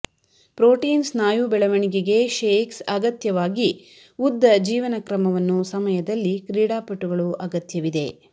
protein ಸ್ನಾಯು ಬೆಳವಣಿಗೆಗೆ shakes ಅಗತ್ಯವಾಗಿ ಉದ್ದ ಜೀವನಕ್ರಮವನ್ನು ಸಮಯದಲ್ಲಿ ಕ್ರೀಡಾಪಟುಗಳು ಅಗತ್ಯವಿದೆ